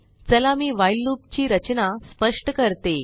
चला मी व्हाईल loopची रचना स्पष्ट करत